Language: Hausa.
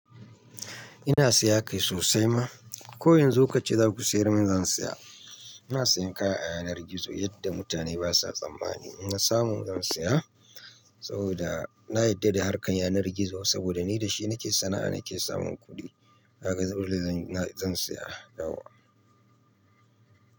Ina saya kai sosai ma. Ko yanzu kace za ku siyar mun zan saya. Ina sayan kaya a yanar gizo yadda mutane basa tsammani. Inna samu zan saya saboda na yarda da harkan yanar gizo saboda ni da shi nake sana'a nake samun kuɗi. Kaga dole zan zan saya yau wa.